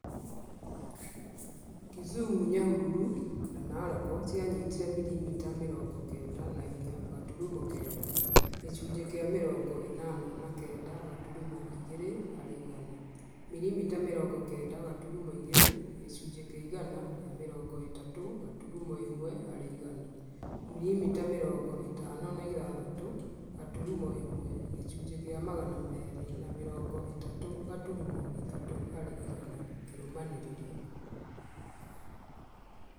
Kisumu, Nyahururu, na Narok cianyitire mirimita mĩrongo kenda na inya gaturumo kenda (gĩcunjĩ kĩa mĩrongo ĩnana na kenda gaturumo igĩrĩ harĩ igana), mirimita mĩrongo kenda gaturumo igĩrĩ (gĩcunjĩ kĩa igana rĩa mĩrongo ĩtatũ gaturumo ĩmwe harĩ igana), mirimita mĩrongo ĩtano na ithathatũ gaturumo ĩmwe (gĩcunjĩ kĩa Magana merĩ ma mĩrongo ĩtatũ gaturumo ithatu harĩ igana) kĩrũmanĩrĩrio